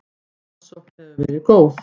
Aðsókn hefur verið góð.